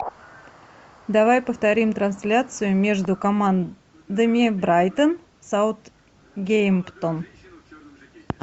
давай повторим трансляцию между командами брайтон саутгемптон